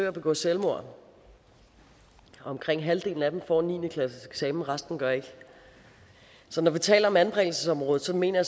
at begå selvmord og omkring halvdelen af dem får en niende klasses eksamen resten gør ikke så når vi taler om anbringelsesområdet mener